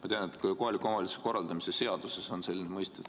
Ma tean, et ka kohaliku omavalitsuse korralduse seaduses on selline mõiste.